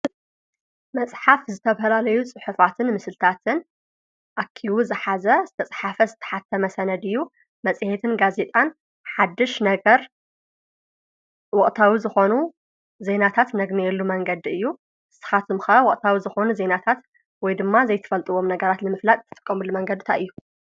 መፅሓፍ ዝተፈላለዩ ፅሑፋትን ምስልታትን ኣኪቡ ዝሓዘ ዝተፃሕፈ ዝተሓተመ ሰነድ እዩ፡፡ መፅሄትን ጋዜጣን ሓድሽ ነገር ወቕታዊ ዝኾኑ ዜናታት ነግንየሉ መንገዲ እዩ፡፡ ንስኻትም ከ ወቕታዊ ዝኾኑ ዜናታት ወይ ድማ ዘይትፈልጥዎም ነገራት ልምፍላጥ ትጥቀሙሉ መንገዲ እንታይ እዩ?